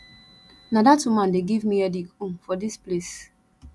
na dat woman dey give me headache um for dis place